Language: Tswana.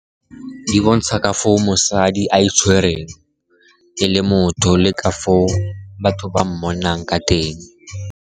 Di bontsha ka foo mosadi a itshwereng e le motho, le ka foo batho ba mmonang ka teng.